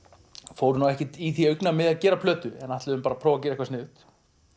fórum ekkert í því augnamiði að gera plötum ætluðum bara að gera eitthvað sniðugt